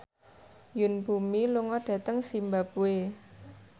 Yoon Bomi lunga dhateng zimbabwe